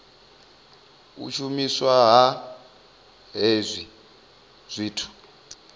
u shumiswa ha hezwi zwithu